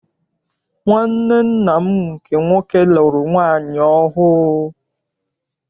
Nwanne nna m nke nwoke lụrụ nwaanyị ọhụụ.